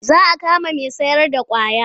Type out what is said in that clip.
Za a kama mai sayarda ƙwaya.